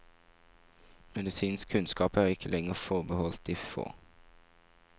Medisinsk kunnskap er ikke lenger forbeholdt de få.